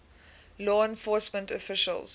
law enforcement officials